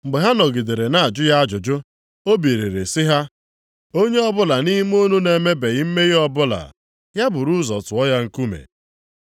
Mgbe ha nọgidere na-ajụ ya ajụjụ, o biliri sị ha, \+wj “Onye ọbụla nʼime unu na-emebeghị mmehie ọbụla, ya buru ụzọ tụọ ya nkume.”\+wj*